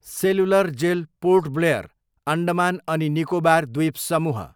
cellular jail, Port Blair, Andaman अनि निकोबार द्वीपसमूह